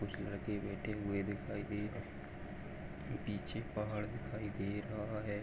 कुछ लड़के बैठे हुए दिखाई दे रहे पिछे पहाड़ दिखाई दे रहा है।